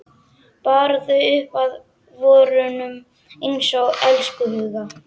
Bar þau upp að vörunum einsog elskhuga.